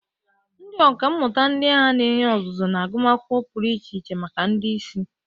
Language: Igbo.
Ndị ọkà mmụta ndị agha na-enye ọzụzụ na agụmakwụkwọ pụrụ iche maka ndị isi.